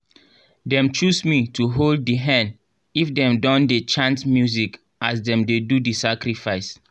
dem choose me to hold di hen if them don dey chant music as dem dey do the sacrifice